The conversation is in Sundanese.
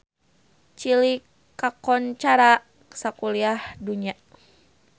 Chili kakoncara sakuliah dunya